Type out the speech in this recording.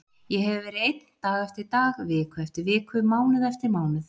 Ég hefi verið ein dag eftir dag, viku eftir viku, mánuð eftir mánuð.